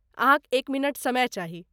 अहाँक एक मिनट समय चाही।